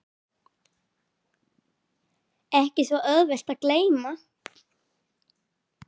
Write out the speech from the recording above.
Ekki svo auðvelt að gleyma